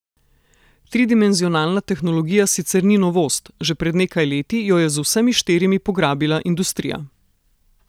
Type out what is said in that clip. Tridimenzionalna tehnologija sicer ni novost, že pred nekaj leti jo je z vsemi štirimi pograbila industrija.